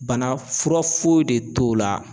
Banafura foyi de t'o la